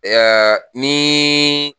E y'a niii